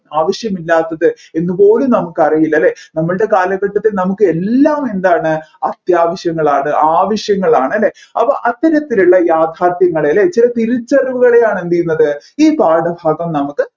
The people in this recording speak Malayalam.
ആവശ്യമില്ലാത്തത് എന്നുപോലും നമ്മുക്കറിയില്ല അല്ലെ നമ്മുളുടെ കാലഘട്ടത്തിൽ നമ്മുക് എല്ലാം എന്താണ് അത്യാവശ്യങ്ങളാണ് ആവശ്യങ്ങളാണ് അപ്പോ അത്തരത്തിലുള്ള യാഥാർഥ്യങ്ങളെ അല്ലെ ചില തിരിച്ചറിവുകളെയാണ് എന്ത് ചെയ്യുന്നത് ഈ പാഠഭാഗം നമ്മുക്ക്